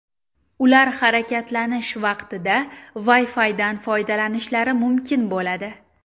Ular harakatlanish vaqtida Wi-Fi’dan foydalanishlari mumkin bo‘ladi.